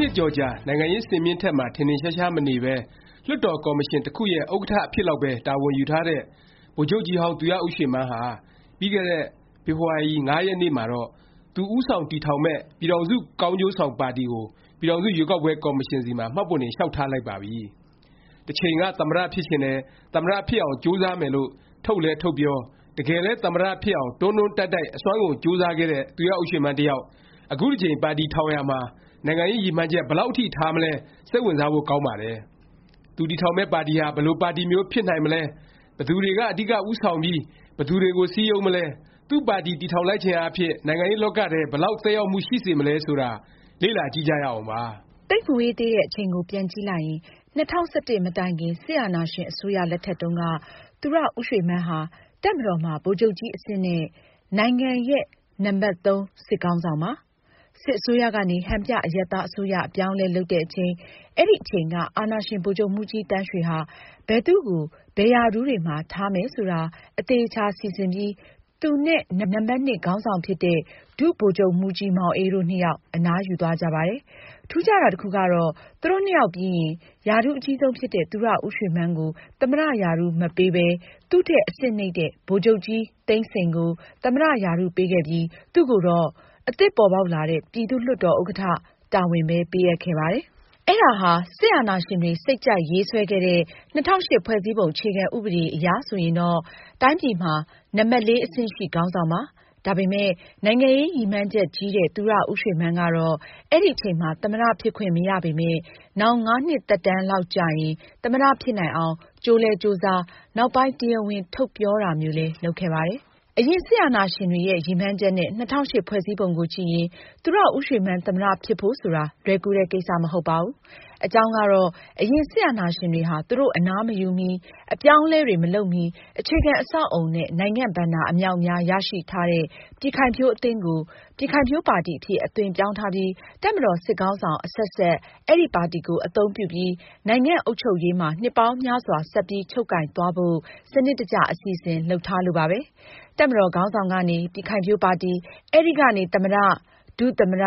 နှစ်ကျော်ကြာ နိုင်ငံရေး စင်မြင့်မှာ ထင်ထင်ရှားရှား မနေပဲ လွှတ်တော် ကော်မရှင် တစ်ခုရဲ့ ဥက္ကဌ အဖြစ်လောက်ပဲ တာဝန်ယူထားတဲ့ ဗိုလ်ချုပ်ကြီးဟောင်း သူရဦးရွှေမန်းဟာ ပြီးခဲ့တဲ့ ဖေဖေါ်ဝါရီ ၅ ရက်နေ့မှာတော့ သူဦးဆောင် တည်ထောင်မယ့် ပြည်ထောင်စု ကောင်းကျိုးဆောင် ပါတီကို ပြည်ထောင်စု ရွေးကောက်ပွဲ ကော်မရှင်ဆီမှာ မှတ်ပုံတင် လျောက်ထားလိုက်ပါပြီ။ တစ်ချိန်က သမ္မတ ဖြစ်ချင်တယ်၊ သမ္မတ ဖြစ်အောင် ကြိုးစားမယ်လို့ ထုတ်လည်း ထုတ်ပြော၊ တကယ်လည်း သမ္မတ ဖြစ်အောင် တွန်းတွန်းတိုက်တိုက် အစွမ်းကုန် ကြိုးစားခဲ့တဲ့ သူရဦးရွှေမန်း တစ်ယောက် အခုတစ်ကြိမ် ပါတီထောင်ရာမှာ နိုင်ငံရေး ရည်မှန်းချက် ဘယ်လောက် အထိ ထားမလဲ စိတ်ဝင်စားဖို့ ကောင်းပါတယ်။ သူတည်ထောင်မယ့် ပါတီဟာ ဘယ်လို ပါတီမျိုး ဖြစ်နိုင်မလဲ၊ ဘယ်သူတွေက အဓိက ဦးဆောင်ပြီး ဘယ်သူတွေကို စည်းရုံးမလဲ၊ သူ့ပါတီ တည်ထောင်လိုက်ခြင်းအားဖြင့် နိုင်ငံရေးလောကထဲ ဘယ်လောက် သက်ရောက်မှု ရှိစေမလဲ ဆိုတာ လေ့လာကြည့်ကြရအောင်ပါ။ သိပ်မဝေးသေးတဲ့အချိန်ကို ပြန်ကြည့်လိုက်ရင် ၂၀၁၁ မတိုင်ခင် စစ်အာဏာရှင် အစိုးရ လက်ထက်တုန်းက သူရဦးရွှေမန်းဟာ တပ်မတော်မှာ ဗိုလ်ချုပ်ကြီးအဆင့်နဲ့ နိုင်ငံရဲ့ နံပတ်(၃) စစ်ခေါင်းဆောင်ပါ။ စစ်အစိုးရကနေ ဟန်ပြ အရပ်သားအစိုးရ အပြောင်းအလဲ လုပ်တဲ့အချိန် အဲဒီအချိန်က အာဏာရှင် ဗိုလ်ချုပ်မှူးကြီးသန်းရွှေဟာ ဘယ်သူ့ကို ဘယ်ရာထူးတွေမှာ ထားမယ် ဆိုတာ အသေအခြာ စီစဉ်ပြီး သူနဲ့ နံပတ်(၂) ခေါင်းဆောင်ဖြစ်တဲ့ ဒုဗိုလ်ချုပ်မှူးကြီးမောင်အေး တို့နှစ်ယောက် အနားယူသွားကြပါတယ်။ ထူးခြားတာ တစ်ခုကတော့ သူတို့နှစ်ယောက်ပြီးရင် ရာထူးအကြီးဆုံးဖြစ်တဲ့ သူရဦးရွှေမန်းကို သမ္မတ ရာထူး မပေးပဲ သူ့ထက် အဆင့်နိမ့်တဲ့ ဗိုလ်ချုပ်ကြီးသိန်းစိန်ကို သမ္မတ ရာထူးပေးခဲ့ပြီး သူ့ကိုတော့ အသစ်ပေါ်ပေါက်လာတဲ့ ပြည်သူ့လွှတ်တော် ဥက္ကဌ တာဝန်ပဲ ပေးအပ်ခဲ့ပါတယ်။ အဲဒါဟာ စစ်အာဏာရှင်တွေ စိတ်ကြိုက်ရေးဆွဲခဲ့တဲ့ ၂၀၀၈ ဖွဲ့စည်းပုံ အခြေခံဥပဒေ အရဆိုရင်တော့ တိုင်းပြည်မှာ နံပတ်(၄) အဆင့်ရှိ ခေါင်းဆောင်ပါ။ ဒါပေမယ့် နိုင်ငံရေးရည်မှန်းချက်ကြီးတဲ့ သူရဦးရွှေမန်းကတော့ အဲဒီအချိန်မှာ သမ္မတ ဖြစ်ခွင့်မရပေမယ့် နောင် ၅ နှစ်သက်တန်းလောက်ကျရင် သမ္မတ ဖြစ်နိုင်အောင် ကြိုးလည်း ကြိုးစား၊ နောက်ပိုင်း တရားဝင် ထုတ်ပြောတာမျိုးလည်း လုပ်ခဲ့ပါတယ်။ အရင် စစ်အာဏာရှင်တွေရဲ့ ရည်မှန်းချက်နဲ့ ၂၀၀၈ ဖွဲ့စည်းပုံကို ကြည့်ရင် သူရဦးရွှေမန်း သမ္မတ ဖြစ်ဖို့ဆိုတာ လွယ်ကူတဲ့ ကိစ္စ မဟုတ်ပါဘူး။ အကြောင်းကတော့ အရင် စစ်အာဏာရှင်တွေဟာ သူတို့ အနားမယူမီ၊ အပြောင်းအလဲတွေ မလုပ်မီ အခြေခံ အဆောက်အဦနဲ့ နိုင်ငံ့ဘဏ္ဍာ အမြောက်အများ ရရှိထားတဲ့ ပြည်ခိုင်ဖြိုးအသင်းကို ပြည်ခိုင်ဖြိုးပါတီ အဖြစ် အသွင်ပြောင်းထားပြီး တပ်မတော် စစ်ခေါင်းဆောင် အဆက်ဆက် အဲဒီ ပါတီကို အသုံးပြုပြီး နိုင်ငံ့အုပ်ချုပ်ရေးမှာ နှစ်ပေါင်းများစွာ ဆက်ပြီး ချုပ်ကိုင်သွားဖို့ စနစ်တကျ အစီအစဉ် လုပ်ထားလို့ပါပဲ။ တပ်မတော်ခေါင်းဆောင်ကနေ ပြည်ခိုင်ဖြိုးပါတီ၊ အဲဒီကနေ သမ္မတ၊ ဒုသမ္မတ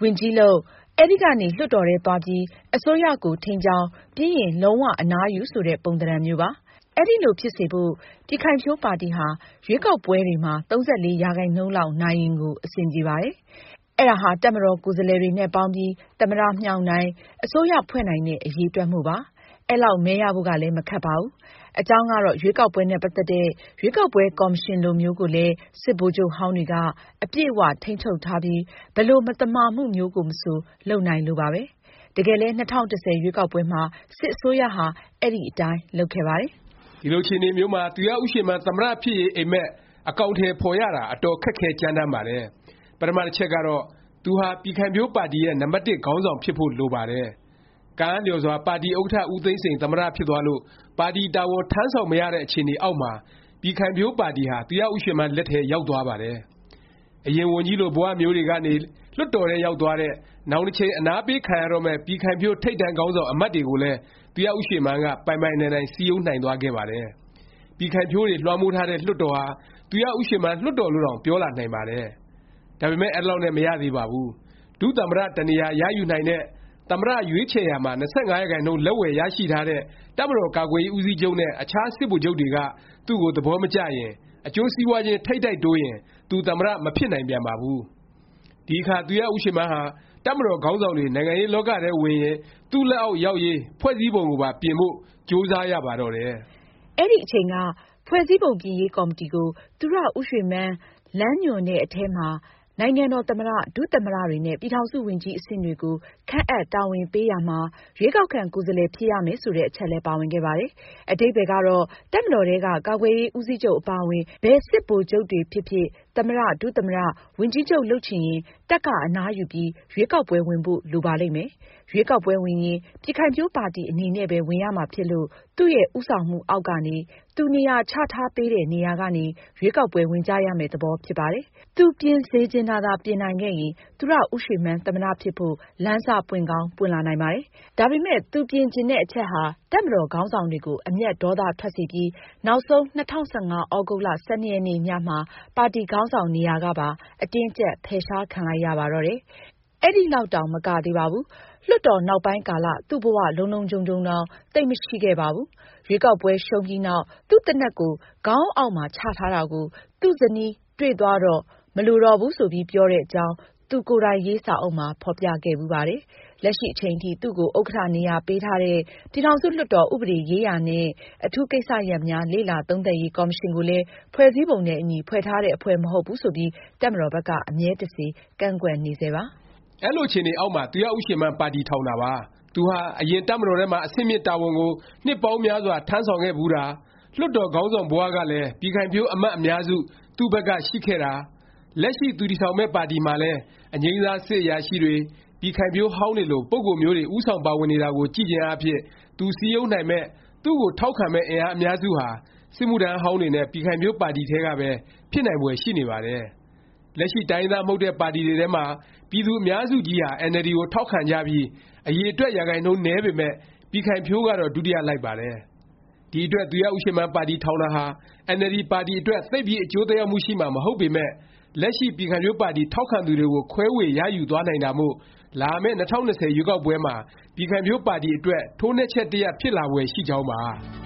ဝန်ကြီးလုပ်၊ အဲဒီကနေ လွှတ်တော်ထဲသွားပြီး အစိုးရကို ထိန်းကျောင်း၊ ပြီးရင် လုံး၀ အနားယူ ဆိုတဲ့ ပုံသဏ္ဍာန်မျိုးပါ။ အဲလိုဖြစ်စေဖို့ ပြည်ခိုင်ဖြိုးပါတီဟာ ရွေးကောက်ပွဲတွေမှာ ၃၄ ရာခိုင်နှုန်းလောက် နိုင်ရင်ကို အဆင်ပြေပါတယ်။ အဲဒါဟာ တပ်မတော်ကိုယ်စားလှယ်တွေနဲ့ ပေါင်းပြီး သမ္မတ မြှောက်နိုင်၊ အစိုးရဖွဲ့နိုင်တဲ့ အရည်အတွက်မို့ပါ။ အဲလောက် မဲရဖို့ကလည်း မခက်ပါဘူး။ အကြောင်းကတော့ ရွေးကောက်ပွဲနဲ့ ပတ်သက်တဲ့ ရွေးကောက်ပွဲ ကော်မရှင်လိုမျိုးကိုလည်း စစ်ဗိုလ်ချုပ်ဟောင်းတွေက အပြည့်အ၀ ထိန်းချုပ်ထားပြီး ဘယ်လို မသမာမှုမျိုးမဆို လုပ်နိုင်လို့ပါပဲ။ တကယ်လည်း ၂၀၁၀ ရွေးကောက်ပွဲမှာ စစ်အစိုးရဟာ အဲဒီအတိုင်း လုပ်ခဲ့ပါတယ်။ ဒီလို အခြေအနေမျိုးမှာ သူရဦးရွှေမန်း သမ္မတ ဖြစ်ရေး အိပ်မက် အကောင်အထည် ဖော်ရတာ အတော်ခက်ခဲကြမ်းတမ်းပါတယ်။ ပထမ တစ်ချက်ကတော့ သူဟာ ပြည်ခိုင်ဖြိုးပါတီရဲ့ နံပတ်တစ် ခေါင်းဆောင်ဖြစ်ဖို့ လိုပါတယ်။ ကံအားလျော်စွာ ပါတီဥက္ကဌ ဦးသိန်းစိန် သမ္မတ ဖြစ်သွားလို့ ပါတီတာဝန် ထမ်းဆောင် မရတဲ့အခြေအနေအောက်မှာ ပြည်ခိုင်ဖြိုးပါတီဟာ သူရဦးရွှေမန်း လက်ထဲ ရောက်သွားပါတယ်။ အရင် ဝန်ကြီးလို ဘ၀ မျိုးတွေကနေ လွှတ်တော်ထဲ ရောက်သွားတဲ့၊ နောင်တစ်ချိန် အနားပေးခံရတော့မယ့် ပြည်ခိုင်ဖြိုး ထိပ်တန်းခေါင်းဆောင် အမတ်တွေကိုလည်း သူရဦးရွှေမန်းက ပိုင်ပိုင်နိုင်နိုင် စည်းရုံးနိုင်သွားခဲ့ပါတယ်။ ပြည်ခိုင်ဖြိုးတွေ လွှမ်းမိုးထားတဲ့ လွှတ်တော်ဟာ သူရဦးရွှေမန်း လွှတ်တော်လို့တောင် ပြောလာနိုင်ပါတယ်။ ဒါပေမယ့် အဲလောက်နဲ့ မရသေးပါဘူး။ ဒုသမ္မတ တစ်နေရာ ရယူနိုင်တဲ့၊ သမ္မတ ရွေးချယ်ရာမှာ ၂၅ ရာခိုင်နှုန်း လက်ဝယ်ရှိထားတဲ့ တပ်မတော်ကာကွယ်ရေး ဦးစီးချုပ်နဲ့ အခြားစစ်ဗိုလ်ချုပ်တွေက သူ့ကို သဘောမကျရင်၊ အကျိုးစီးပွားခြင်း ထိပ်တိုက်တိုးရင် သူ သမ္မတ မဖြစ်နိုင်ပြန်ပါဘူး။ ဒီအခါ သူရဦးရွှေမန်းဟာ တပ်မတော်ခေါင်းဆောင်တွေ နိုင်ငံရေးလောကထဲဝင်ရင် သူ့လက်အောက် ရောက်ရေး ဖွဲ့စည်းပုံကိုပါ ပြင်ဖို့ ကြိုးစားရပါတော့တယ်။ အဲဒီအချိန်က ဖွဲ့စည်းပုံပြင်ရေး ကော်မတီကို သူရဦးရွှေမန်း လမ်းညွှန်တဲ့အထဲမှာ နိုင်ငံတော် သမ္မတ၊ ဒုသမ္မတတွေနဲ့ ပြည်ထောင်စုဝန်ကြီး အဆင့်တွေကို ခန့်အပ် တာဝန်ပေးရာမှာ ရွေးကောက်ခံ ကိုယ်စားလှယ် ဖြစ်ရမယ် ဆိုတဲ့ အချက်လည်း ပါဝင်ခဲ့ပါတယ်။ အဓိပ္ပါယ်ကတော့ တပ်မတော်ထဲက ကာကွယ်ရေး ဦးစီးချုပ် အပါအဝင် ဘယ်စစ်ဗိုလ်ချုပ်တွေဖြစ်ဖြစ် သမ္မတ၊ ဒုသမ္မတ၊ ဝန်ကြီးလုပ်ချင်ရင် တပ်က အနားယူပြီး ရွေးကောက်ပွဲ ဝင်ဖို့ လိုပါလိမ့်မယ်။ ရွေးကောက်ပွဲဝင်ရင် ပြည်ခိုင်ဖြိုးပါတီ အနေနဲ့ပဲ ဝင်ရမှာဖြစ်လို့ သူ့ဦးဆောင်မှုအောက်ကနေ၊ သူနေရာချထားပေးတဲ့ နေရာကနေ ရွေးကောက်ပွဲ ဝင်ကြရမယ့် သဘောဖြစ်ပါတယ်။ သူပြင်စေချင်တာသာ ပြင်နိုင်ခဲ့ရင် သူရဦးရွှေမန်း သမ္မတ ဖြစ်ဖို့ လမ်းစ ပွင့်ကောင်း ပွင့်လာနိုင်ပါတယ်။ ဒါပေမယ့် သူပြင်ချင်တဲ့ အချက်ဟာ တပ်မတော်ခေါင်းဆောင်တွေကို အမျက်ဒေါသ ထွက်စေပြီး နောက်ဆုံး ၂၀၁၅ သြဂုတ်လ ၁၂ ရက်နေ့ ညမှာ ပါတီခေါင်းဆောင် နေရာကပါ အတင်းအကြပ် ဖယ်ရှားခံလိုက်ရပါတော့တယ်။ အဲဒီလောက်တောင် မကသေးပါဘူး။ လွှတ်တော် နောက်ပိုင်းကာလ သူ့ဘ၀ လုံလုံခြုံခြုံတောင် သိပ်မရှိခဲ့ပါဘူး။ ရွေးကောက်ပွဲ ရှုံးပြီးနောက် သူ့သေနတ်ကို ခေါင်းအုံးအောက်မှာ ချတာကို သူ့ဇနီးတွေ့သွားတော့ မလိုတော့ဘူး ဆိုပြီး ပြောတဲ့အကြောင်း သူ့ကိုယ်တိုင်ရေး စာအုပ်မှာ ဖော်ပြခဲ့ဖူးပါတယ်။ လက်ရှိအချိန်ထိ သူ့ကို ဥက္ကဌနေရာ ပေးထားတဲ့ ပြည်ထောင်စုလွှတ်တော် ဥပဒေရေးရာနှင့် အထူးကိစ္စရပ်များ လေ့လာသုံးသပ်ရေး ကော်မရှင်ကိုလည်း ဖွဲ့စည်းပုံနဲ့ အညီ ဖွဲ့ထားတဲ့ အဖွဲ့ မဟုတ်ဘူးဆိုပြီး တပ်မတော်ဘက်က အမြဲတစေ ကန့်ကွက်နေဆဲပါ။ ဒီလိုအခြေအနေအောက်မှာ သူရဦးရွှေမန်း ပါတီထောင်တာပါ။ သူဟာ အရင်က တပ်မတော်ထဲမှာ အဆင့်မြင့် တာဝန်ကို နှစ်ပေါင်းများစွာ ထမ်းဆောင်ခဲ့ဖူးတာ၊ လွှတ်တော်ခေါင်းဆောင်ဘ၀ ကလည်း ပြည်ခိုင်ဖြိုးအမတ် အများစု သူ့ဘက်က ရှိခဲ့တာ၊ လက်ရှိ သူတည်ထောင်မယ့် ပါတီမှာလည်း အငြိမ်းစား စစ်အရာရှိတွေ၊ ပြည်ခိုင်ဖြိုးဟောင်းတွေလို ပုဂ္ဂိုလ်မျိုးတွေ ဦးဆောင် ပါဝင်နေတာကိုကြည့်ခြင်းအားဖြင့် သူစည်းရုံးနိုင်မယ့်၊ သူ့ကိုထောက်ခံမယ့် အင်အားအများစုဟာ စစ်မှုထမ်းဟောင်းတွေနဲ့ ပြည်ခိုင်ဖြိုးပါတီထဲကပဲ ဖြစ်နိုင်ဖွယ်ရှိနေပါတယ်။ လက်ရှိ တိုင်းရင်းသား မဟုတ်တဲ့ ပါတီတွေထဲမှာ ပြည်သူ အများစုကြီးဟာ NLD ကို ထောက်ခံကြပြီး အရည်အတွက် ရာခိုင်နှုန်း နည်းပေမယ့် ပြည်ခိုင်ဖြိုးကတော့ ဒုတိယ လိုက်ပါတယ်။ ဒီအတွက် သူရဦးရွှေမန်း ပါတီ ထောင်တာဟာ အင်န်အယ်လ်ဒီ ပါတီအတွက် သိပ်ပြီး အကျိုးသက်ရောက်မှု ရှိမှာ မဟုတ်ပေမယ့် လက်ရှိ ပြည်ခိုင်ဖြိုးပါတီထောက်ခံသူတွေကို ခွဲေ၀ ရယူသွားနိုင်တာမို့ လာမယ့် ၂၀၂၀ ရွေးကောက်ပွဲမှာ ပြည်ခိုင်ဖြိုးပါတီအတွက် ထိုးနှက်ချက် တစ်ရပ် ဖြစ်လာဖွယ် ရှိကြောင်းပါ